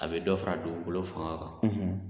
A bɛ dɔ fara dugukolo fanga kan